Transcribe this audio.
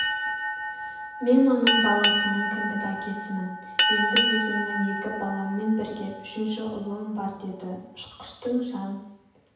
мен оның баласының кіндік әкесімін енді өзімнің екі баламмен бірге үшінші ұлым бар деді ұшқыштың жан